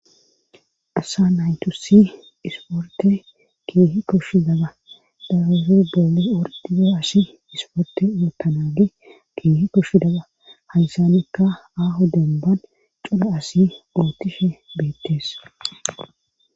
asa naytusi isporte keehi koshshi daba daabufi boole wordizo asi isporte yootanage keehi koshshi daba haysanekka aho demban coda asi ootishe beettees